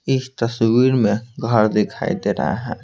इस तस्वीर में घर दिखाई दे रहा है।